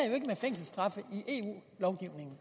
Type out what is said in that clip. jo